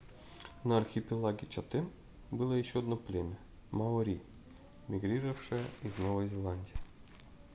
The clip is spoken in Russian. на архипелаге чатем было ещё одно племя маори мигрировавшее из новой зеландии